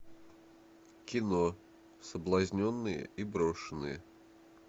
кино соблазненные и брошенные